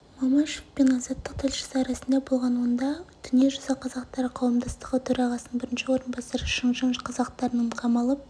мамашев пен азаттық тілшісі арасында болған онда дүниежүзі қазақтары қауымдастығы төрағасының бірінші орынбасары шыңжаң қазақтарының қамалып